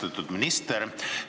Austatud minister!